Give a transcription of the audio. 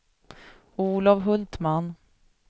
Olof Hultman